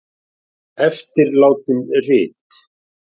Eftirlátin rit